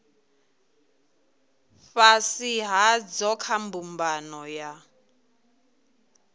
fhasi hadzo kha mbumbano ya